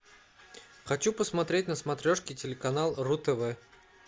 хочу посмотреть на смотрешке телеканал ру тв